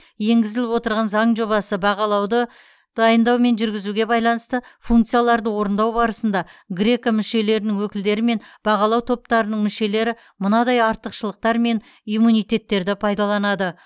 енгізіліп отырған заң жобасы бағалауды дайындау мен жүргізуге байланысты функцияларды орындау барысында греко мүшелерінің өкілдері мен бағалау топтарының мүшелері мынадай артықшылықтар мен иммунитеттерді пайдаланады